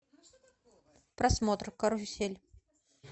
просмотр карусель